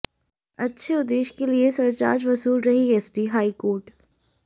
अच्छे उद्देश्य के लिए सरचार्ज वसूल रही एसटीः हाईकोर्ट